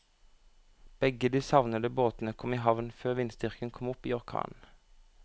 Begge de savnede båtene kom i havn før vindstyrken kom opp i orkan.